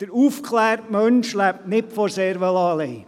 Der aufgeklärte Mensch lebt nicht vom Cervelat allein.